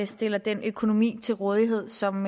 stiller den økonomi til rådighed som